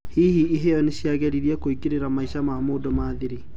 Hihi, iheo niciageriirwo kũingirera maisha ma mũndũ na thiri?